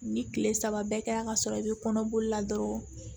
Ni kile saba bɛɛ kɛra ka sɔrɔ i bɛ kɔnɔboli la dɔrɔn